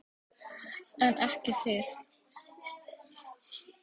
En ekki þið.